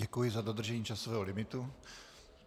Děkuji za dodržení časového limitu.